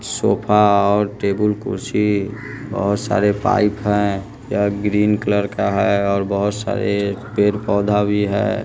Sofa और table कुर्सी और बहुत सारे पाइप हैं यह ग्रीन कलर का है और बहुत सारे पेड़ पौधा भी है।